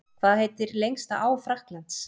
Hvað heitir lengsta á Frakklands?